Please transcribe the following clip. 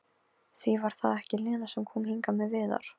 Því var það ekki Lena sem kom hingað með Viðar?